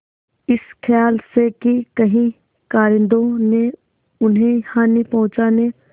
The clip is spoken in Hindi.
इस खयाल से कि कहीं कारिंदों ने उन्हें हानि पहुँचाने